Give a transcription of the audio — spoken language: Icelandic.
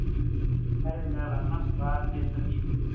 Þær eru meðal annars: Hvað éta býflugur?